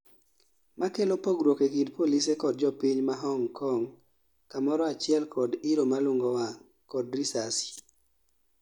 makelo pogruok e kind polise kod jopiny ma Hong Kong kamoro achiel kod iro malung'o wang', kod risasi